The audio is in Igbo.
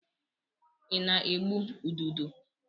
I na-egbu ududo?